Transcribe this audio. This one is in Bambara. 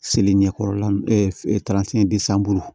Seli ɲɛkɔrɔla